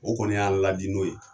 O kɔni y'a ladi n'o ye